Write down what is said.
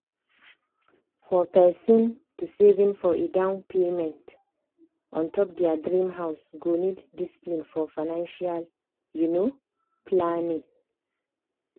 for persin to saving for a down payment on top their dream house go need discipline for financial um planning.